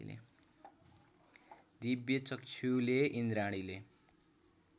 दिव्यचक्षुले इन्द्राणीले